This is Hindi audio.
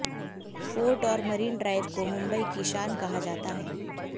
फोर्ट और मरीन ड्राइव को मुंबई की शान कहा जाता है